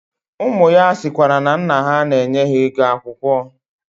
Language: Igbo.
Umu ya sikwara na nna ha na-enye ha ego akwukwo.